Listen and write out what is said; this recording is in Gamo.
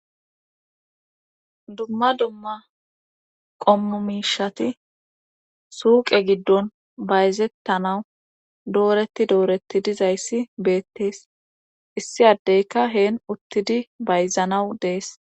dumma dumma qommomishati suuqe giddon bayzettanawu dooreti dooretti dizayssi beettees issi addeyka heen uttidi bayzanawu dees